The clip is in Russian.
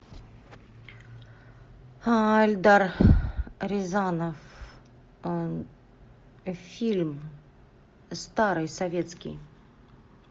эльдар рязанов фильм старый советский